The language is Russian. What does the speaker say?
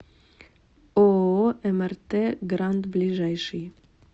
ооо мрт гранд ближайший